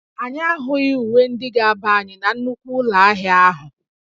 Anyị ahụghị uwe ndị ga-aba anyị na nnukwu ụlọ ahịa ahụ